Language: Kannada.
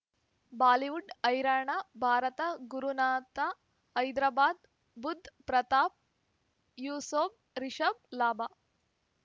ಬಾಲಿವುಡ್ ಹೈರಾಣ ಭಾರತ ಗುರುನಾಥ ಹೈದರಾಬಾದ್ ಬುಧ್ ಪ್ರತಾಪ್ ಯೂಸುಫ್ ರಿಷಬ್ ಲಾಭ